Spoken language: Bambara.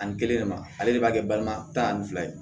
Ani kelen de ma ale de b'a kɛ balima ta ani fila ye